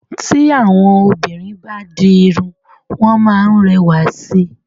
Tí àwọn obìnrin bá di irun, wọ́n máa ń rẹwà sí i.